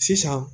Sisan